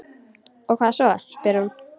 Og hvað svo, spyr hún.